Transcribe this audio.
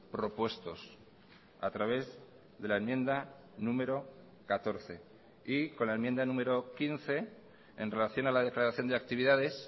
propuestos a través de la enmienda número catorce y con la enmienda número quince en relación a la declaración de actividades